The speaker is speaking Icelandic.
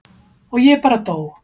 Og ég bara dó.